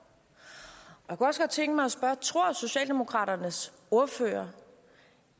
jeg godt tænke mig at spørge tror socialdemokraternes ordfører